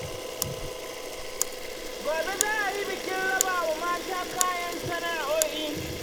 Gobe za a yi bikin raba wa mata kayan sana'a'o'i.